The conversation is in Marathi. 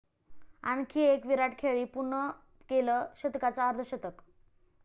आणखी एक 'विराट' खेळी, पूर्ण केलं शतकांचं अर्धशतक!